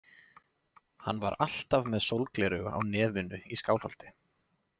Hann var alltaf með sólgleraugu á nefinu í Skálholti.